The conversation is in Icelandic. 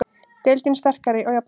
Deildin sterkari og jafnari